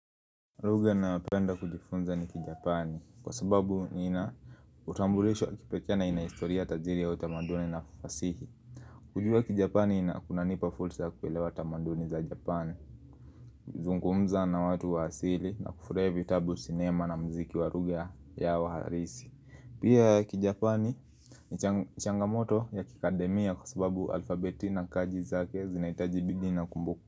Lugha nayopenda kujifunza ni kijapani kwa sababu niina utambulishwo kipekee na inahistoria tajiri ya utamaduni na fasihi kujua kijapani ina kunanipa fursa kuelewa utamaduni za japani zungumza na watu wa asili na kufurahi vitabu sinema na muziki wa lugha yao harisi Pia kijapani ni cha changamoto ya kikademia kwa sababu alfabeti na kaji zake zinaitaji bidi na kumbuku.